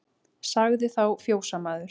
Sagði þá fjósamaður